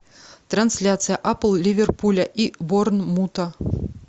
трансляция апл ливерпуля и борнмута